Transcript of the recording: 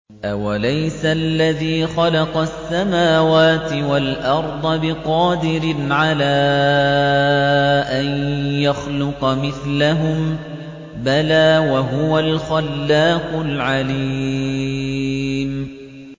أَوَلَيْسَ الَّذِي خَلَقَ السَّمَاوَاتِ وَالْأَرْضَ بِقَادِرٍ عَلَىٰ أَن يَخْلُقَ مِثْلَهُم ۚ بَلَىٰ وَهُوَ الْخَلَّاقُ الْعَلِيمُ